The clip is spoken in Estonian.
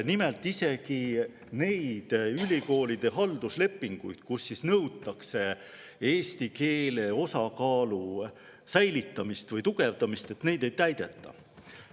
Nimelt, isegi neid ülikoolide halduslepinguid, kus nõutakse eesti keele osakaalu säilitamist või, ei täideta.